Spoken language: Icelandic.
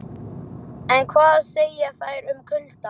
En hvað segja þær um kuldann?